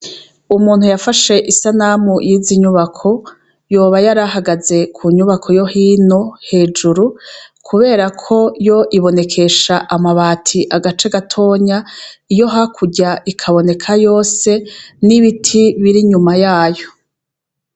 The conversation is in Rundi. Umuntu yafashe isanamu yizi nyubako yoba yarahagaze kunyubako yo hino hejuru kubera koyo ibonekesha amabati agace gatonya iyo hakurya ikaboneka yose nibiti biri inyuma yayo